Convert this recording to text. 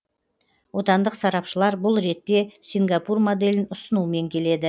отандық сарапшылар бұл ретте сингапур моделін ұсынумен келеді